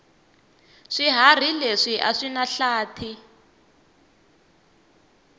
swihharhi leswi aswinahlathi